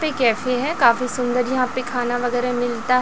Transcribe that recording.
पे कैफे है काफी सुंदर यहां पे खाना वगैरा मिलता--